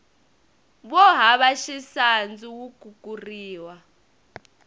wo hava xisandzu wu kukuriwa